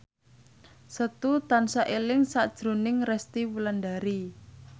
Setu tansah eling sakjroning Resty Wulandari